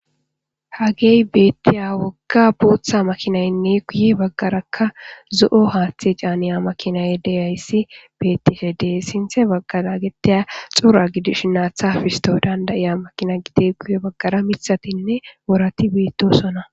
Hagey beettiya wogga booththa makinaynne kuye baggarakka zo'o haaththe caaniya makinay deyayssi bettife dee sinthe baggara getteya xura gidish naatha fisto dandayiya makina gide kuye baggara mithatinne worati biittosona.